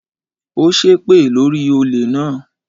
Ó ṣẹ́ èpè lórí i olè náà